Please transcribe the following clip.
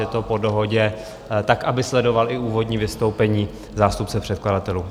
Je to po dohodě, tak aby sledoval i úvodní vystoupení zástupce předkladatelů.